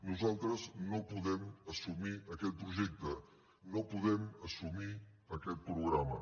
nosaltres no podem assumir aquest projecte no podem assumir aquest programa